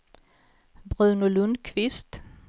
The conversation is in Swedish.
Bruno Lundqvist